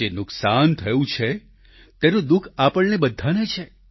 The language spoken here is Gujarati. જે નુકસાન થયું છે તેનું દુઃખ આપણને બધાને છે